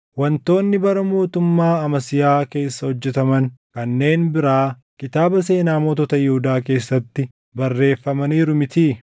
Wantoonni bara mootummaa Amasiyaa keessa hojjetaman kanneen biraa kitaaba seenaa mootota Yihuudaa keessatti barreeffamaniiru mitii?